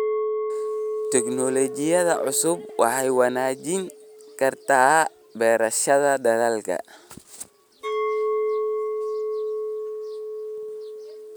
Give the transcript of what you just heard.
Tignoolajiyada cusubi waxay wanaajin kartaa beerashada dalagga.